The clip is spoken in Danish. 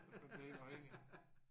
Man bliver helt afhængig